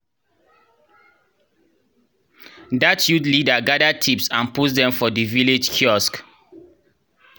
dat youth leader gather tips and post dem for di village kiosk